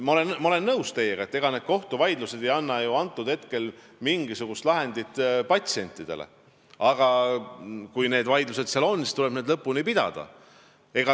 Ma olen teiega nõus, et ega need kohtuvaidlused ei anna ju hetkel patsientidele mingisugust lahendit, aga kui vaidlused on, siis tuleb need lõpuni pidada.